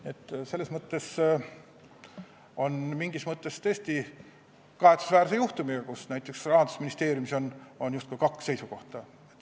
Nii et mingis mõttes on tegu kahetsusväärse juhtumiga, kus näiteks Rahandusministeeriumis on justkui kaks seisukohta.